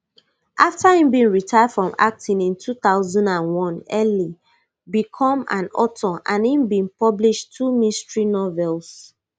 afta im retire from acting in two thousand and one ely become an author and im bin publish two mystery novels